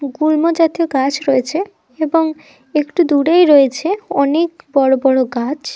গুল্ম জাতীয় গাছ রয়েছে। এবং একটু দূরেই রয়েছে অনেক বড় বড় গাছ--